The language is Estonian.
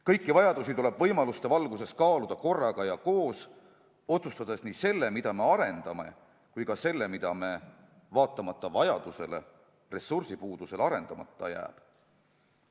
Kõiki vajadusi tuleb võimaluste valguses kaaluda korraga ja koos otsustada nii see, mida me arendame, kui ka see, mis meil vaatamata vajadusele ressursi puuduse tõttu arendamata jääb.